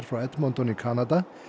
frá Edmonton í Kanada